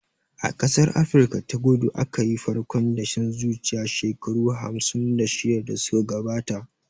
A ƙasar Afrika ta kudu aka yi farkon dashen zuciya shekaru hamsin da shida da suka gabata